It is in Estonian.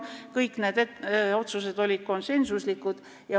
Kõik need otsused olid konsensuslikud.